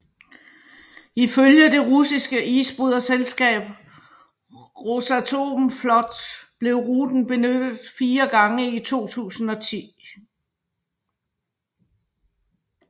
Ifølge det russiske isbryderselskab Rosatomflot blev ruten benyttet fire gange i 2010